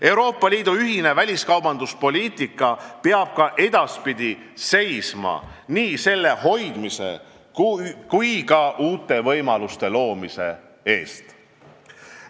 Euroopa Liidu ühine väliskaubanduspoliitika peab ka edaspidi seisma nii selle hoidmise kui ka uute võimaluste loomise eest.